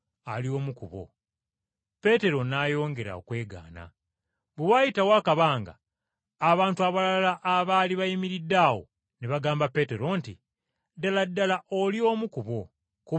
Peetero n’ayongera okwegaana. Bwe waayitawo akabanga, abantu abalala abaali bayimiridde awo ne bagamba Peetero nti, “Ddala ddala oli omu ku bo, kubanga oli Mugaliraaya!”